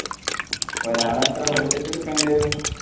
ഒരാൾ എത്ര budget എടുകേണ്ടരു